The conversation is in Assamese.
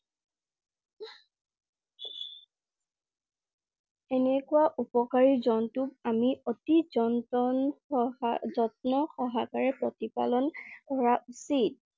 এনেকুৱা উপকাৰী জন্তক আমি অতি জনটন~সহা~যত্ন সহকাৰে প্ৰতিপালন কৰা উচিত।